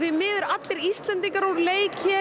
miður allir Íslendingar úr leik hér